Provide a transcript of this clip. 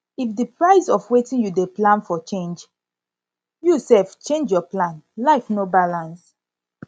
if di price of wetin you dey plan for change for change you sef change your plan life no balance